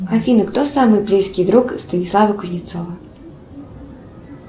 афина кто самый близкий друг станислава кузнецова